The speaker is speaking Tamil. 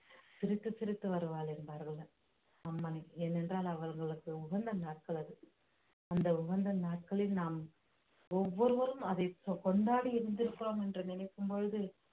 சிரித்து சிரித்து வருவாள் என்பார்கள் அம்மனை ஏனென்றால் அவர்களுக்கு உகந்த நாட்கள் அது அந்த உகந்த நாட்களில் நாம் ஒவ்வொருவரும் அதை கொ~ கொண்டாடி இருந்திருக்கிறோம் என்று நினைக்கும் பொழுது